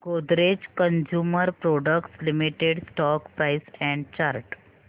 Godrej consumer products limited stock price and chart